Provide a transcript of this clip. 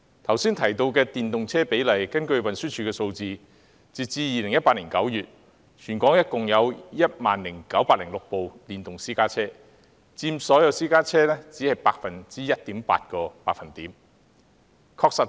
剛才提到的電動車比例，根據運輸署的數字，截至2018年9月，全港共有 10,906 輛電動私家車，佔所有私家車約 1.8%。